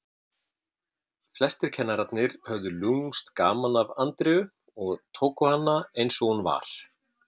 Flestir kennararnir höfðu lúmskt gaman af Andreu og tóku hana eins og hún var.